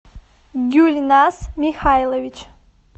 гюльназ михайлович